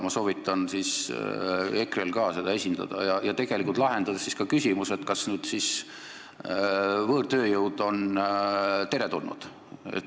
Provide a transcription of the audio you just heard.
Ma soovitan EKRE-l ka seda esindada ja tegelikult lahendada ka küsimus, kas siis võõrtööjõud on teretulnud.